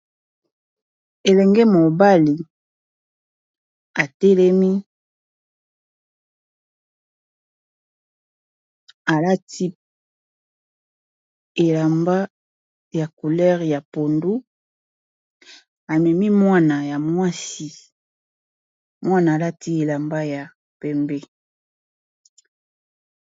Elenge mobali atelemi alati elamba ya couleur ya pondu amemi mwana ya mwasi mwana alati elamba ya pembe.